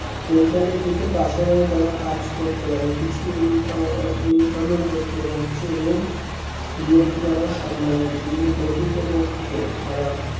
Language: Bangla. এর ফলে কি হচ্ছে পাশাপাশি তারা কাজ করতে পারে কিছু income~ income ও করতে পারছে এবং DED করা সম্ভব হচ্ছে কিন্তু প্রকৃতপক্ষে তারা